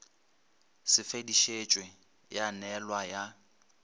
se fetišetšwe ya neelwa ya